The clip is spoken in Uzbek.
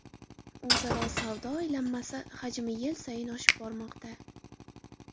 O‘zaro savdo aylanmasi hajmi yil sayin oshib bormoqda.